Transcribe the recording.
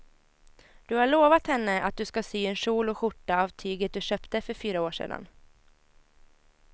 Du har lovat henne att du ska sy en kjol och skjorta av tyget du köpte för fyra år sedan.